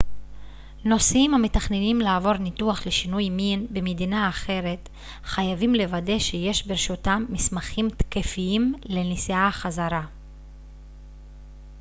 נוסעים המתכננים לעבור ניתוח לשינוי מין במדינה אחרת חייבים לוודא שיש ברשותם מסמכים תקפים לנסיעה חזרה